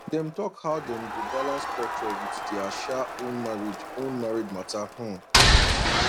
dem talk how dem go balance culture with their sha own marriage own marriage matter um